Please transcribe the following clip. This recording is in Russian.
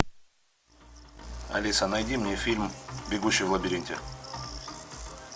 алиса найди мне фильм бегущий в лабиринте